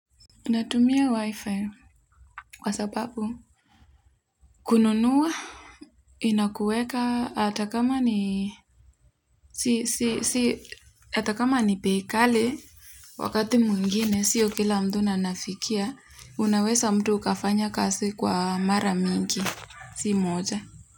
Natumia wifi kwa sababu kununua inakueka hata kama ni si si si hata kama ni bei kalo wakati mwingine sio kila mtu anafikia unaweza mtu ukafanya kazi kwa mara mingi si moja.